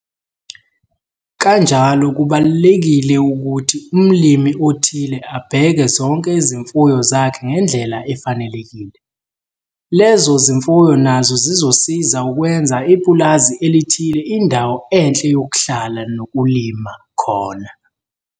Kanjalo kubalulekile ukuthi umlimi othile abheke zonke izimfuyo zakhe ngendlela efanelekile, lezo zimfuyo nazo zizosiza ukwenza ipulazi elithile indawo enhle yokhlala nokulima khona.